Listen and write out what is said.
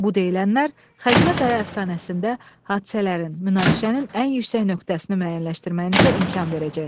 Bu deyilənlər Xəzinə Qaya əfsanəsində hadisələrin, münaqişənin ən yüksək nöqtəsini müəyyənləşdirməyinizə imkan verəcək.